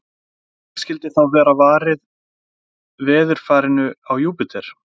En hvernig skyldi þá vera varið veðurfarinu á Júpíter?